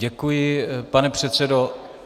Děkuji, pane předsedo.